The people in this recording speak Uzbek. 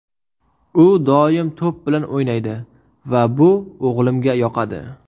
U doim to‘p bilan o‘ynaydi va bu o‘g‘limga yoqadi.